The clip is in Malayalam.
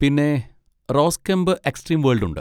പിന്നെ, റോസ് കെംപ് എക്സ്ട്രീം വേൾഡ് ഉണ്ട്.